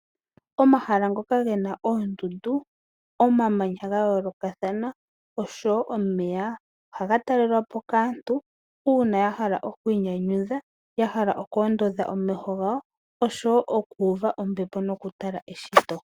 Omahala ngoka gena oondundu, omamanya ga yoolokathana oshowo omeya. Ohaga talelwa po kaantu uuna ya hala okwiinyanyudha, ya hala okwoondodha omeho gawo oshowo okuuva ombepo nokutala eshito.